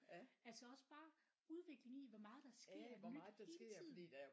Altså også bare udviklingen i hvor meget der sker nyt hele tiden